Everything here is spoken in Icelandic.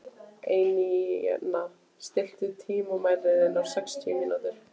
Einína, stilltu tímamælinn á sextíu mínútur.